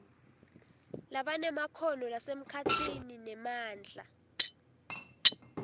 labanemakhono lasemkhatsini nemandla